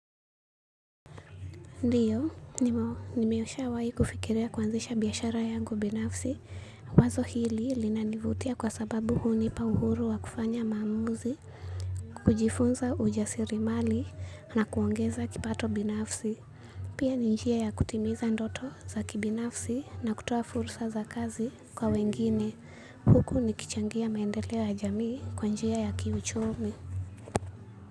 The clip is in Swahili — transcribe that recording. Ndiyo nimeshawahi kufikiria kuanzisha biashara yangu binafsi, wazo hili linanivutia kwa sababu hunipa uhuru wa kufanya maamuzi kujifunza ujasirimali na kuongeza kipato binafsi. Pia ni njia ya kutimiza ndoto za kibinafsi na kutoa fursa za kazi kwa wengine huku nikichangia maendeleo ya jamii kwa njia ya kiuchumi.